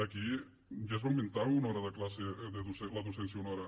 aquí ja es va augmentar una hora de classe la docència una hora